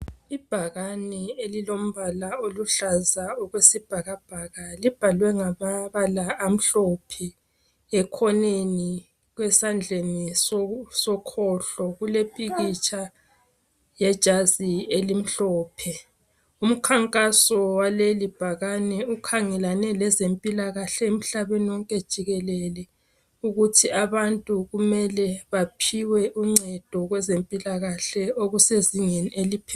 Ibhakane elilombala oluhlaza okwesibhakabhaka libhaliwe ngamabala amhlophe ekhoneni esandleni sokhohlo kulompikitsha yejazi elimhlophe umkhankaso walelibhakane ukhangelane lezempilakahle emhlaneni wonke jikelele ukuthi abantu kumele baphiwe uncendo kweze mpilakahle okusezingeni eliphezulu.